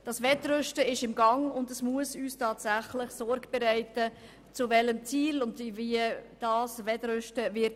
Das Wettrüsten ist im Gang, und es muss uns tatsächlich Sorge bereiten, wie dieses enden wird.